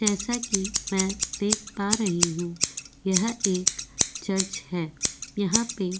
जैसा कि मैं देख पा रही हूं यह एक चर्च है यहां पे --